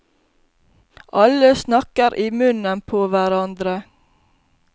Alle snakker i munnen på hverandre.